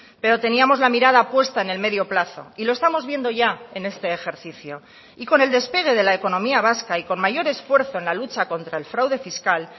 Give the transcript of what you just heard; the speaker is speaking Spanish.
pero teníamos la mirada puesta en el medio plazo y lo estamos viendo ya en este ejercicio y con el despegue de la economía vasca y con mayor esfuerzo en la lucha contra el fraude fiscal